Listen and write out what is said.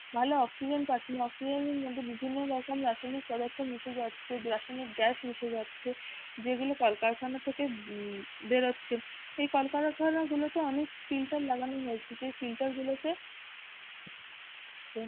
ভালো oxygen পাচ্ছে না oxygen এর মধ্যে বিভিন্ন রকম রাসায়নিক পদার্থ মিশে যাচ্ছে, রাসায়নিক গ্যাস মিশে যাচ্ছে যেগুলো কল কারখানা থেকে বেরোচ্ছে এই কলকারখানাগুলোতে অনেক filter লাগানো হয়েছে যে filter গুলো তে,